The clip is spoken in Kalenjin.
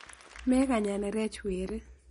Mekany anerech weri.